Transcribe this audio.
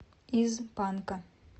из панка